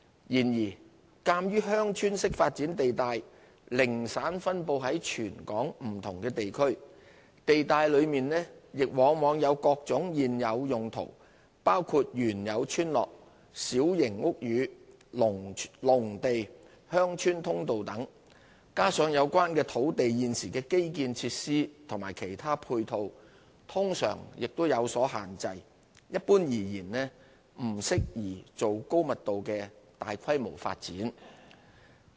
然而，鑒於"鄉村式發展"地帶零散分布在全港不同地區，地帶內亦往往有各種現有用途，包括原有村落、小型屋宇、農地、鄉村通道等，加上有關土地現時的基建設施和其他配套通常亦有所限制，一般而言並不適宜作高密度的大規模發展。